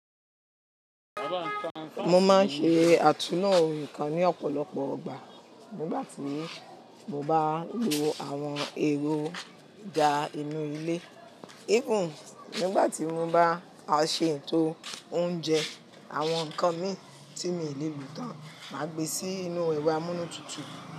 Mo máa ń ṣe àtúná oǹkà ní ọ̀pọ̀lọpọ̀ igbà. Nígbà tí mo bá lo àwọn èròjà inú ilé, even nígbà tí mo bá ṣe ètò oúnjẹ, àwọn nǹkan mi tí mi ò lè lo tán máa gbé sí inú ero amúnútutù.